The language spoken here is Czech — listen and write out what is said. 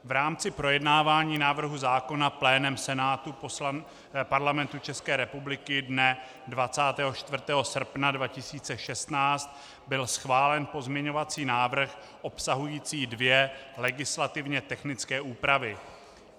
V rámci projednávání návrhu zákona plénem Senátu Parlamentu České republiky dne 24. srpna 2016 byl schválen pozměňovací návrh obsahující dvě legislativně technické úpravy.